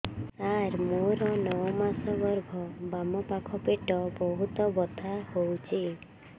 ସାର ମୋର ନଅ ମାସ ଗର୍ଭ ବାମପାଖ ପେଟ ବହୁତ ବଥା ହଉଚି